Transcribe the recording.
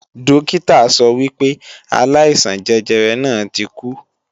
Dókítà sọ wípé aláìsàn jẹjẹrẹ náà ti kú